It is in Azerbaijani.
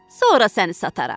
Sonra səni sataram.